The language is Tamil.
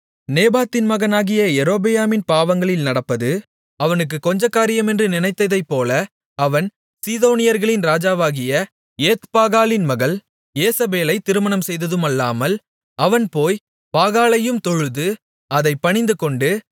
நேபாத்தின் மகனாகிய யெரொபெயாமின் பாவங்களில் நடப்பது அவனுக்குக் கொஞ்சக்காரியமென்று நினைத்ததைப்போல அவன் சீதோனியர்களின் ராஜாவாகிய ஏத்பாகாலின் மகள் யேசபேலை திருமணம் செய்ததுமல்லாமல் அவன் போய் பாகாலையும் தொழுது அதைப் பணிந்துகொண்டு